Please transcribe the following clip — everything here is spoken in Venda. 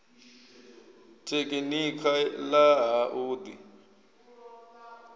tekhinikha ḽa ha u ḓi